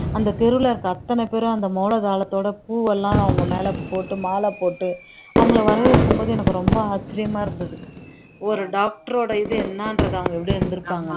அந்த தெருவுல இருக்க அத்தனை பேரும் அந்த மேளதாளத்தோட பூவெல்லாம் அவங்க மேல போட்டு மாலை போட்டு அவங்களை வரவேற்கும் போது எனக்கு ரொம்ப ஆச்சரியமா இருந்தது ஒரு doctor ஓட இது என்னன்றதை அவங்க எப்படி இருந்திருப்பாங்க